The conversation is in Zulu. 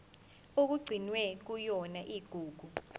okugcinwe kuyona igugu